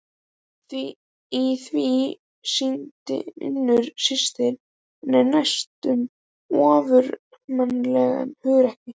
Í því sýndi Unnur systir hennar næstum ofurmannlegt hugrekki.